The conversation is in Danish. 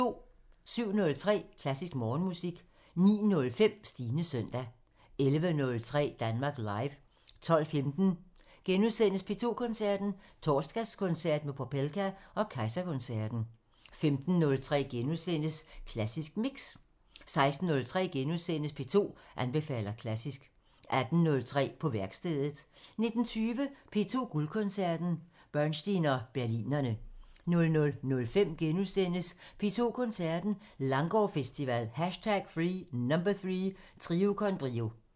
07:03: Klassisk Morgenmusik 09:05: Stines søndag 11:03: Danmark Live 12:15: P2 Koncerten – Torsdagskoncert med Popelka og Kejserkoncerten * 15:03: Klassisk Mix * 16:03: P2 anbefaler klassisk * 18:03: På værkstedet 19:20: P2 Guldkoncerten – Bernstein og Berlinerne 00:05: P2 Koncerten – Langgaardfestival #3 – Trio con Brio *